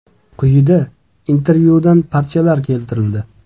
Quyida intervyudan parchalar keltirildi.